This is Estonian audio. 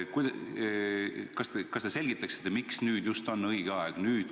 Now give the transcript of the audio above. Kas te selgitaksite, miks nüüd just on õige aeg?